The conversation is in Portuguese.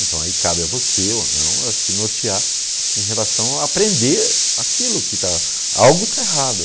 Então aí cabe a você ou não a se nortear em relação a aprender aquilo que está... Algo está errado.